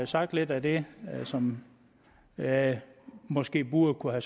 sagt lidt af det som jeg måske burde